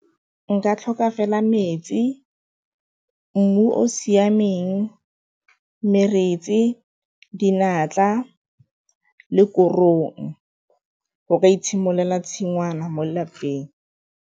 Nka tlhoka fela metsi, mmu o o siameng le korong, go ka itshimololela tshingwana mo lelapeng.